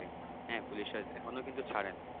হ্যাঁ পুলিশরা এখনো কিন্তু ছাড়ে নাই।